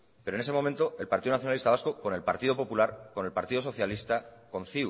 pero en ese momento el partido nacionalista vasco con el partido popular con el partido socialista con